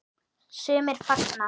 Sumir fagna.